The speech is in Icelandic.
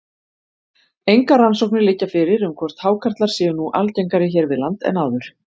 Engar rannsóknir liggja fyrir um hvort hákarlar séu nú algengari hér við land en áður.